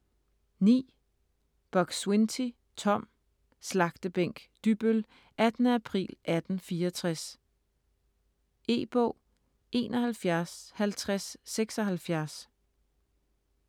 Buk-Swienty, Tom: Slagtebænk Dybbøl: 18. april 1864 E-bog 715076